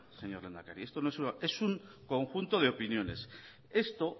señor lehendakari esto es un conjunto de opiniones esto